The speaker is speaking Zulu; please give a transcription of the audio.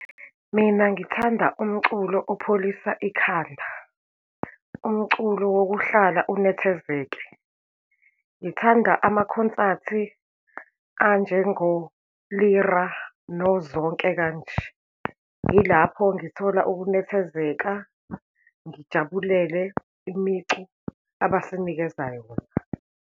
Mina, ngithanda umculo opholisa ikhanda, umculo wokuhlala unethezeke. Ngithanda amakhonsathi anjengo-Lira, noZonke, kanje. Yilapho ngithola ukunethezeka, ngijabulele imicu abasinikeza yona.